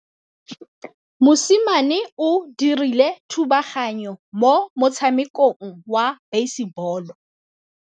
Mosimane o dirile thubaganyô mo motshamekong wa basebôlô.